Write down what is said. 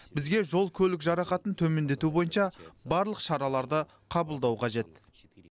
бізге жол көлік жарақатын төмендету бойынша барлық шараларды қабылдау қажет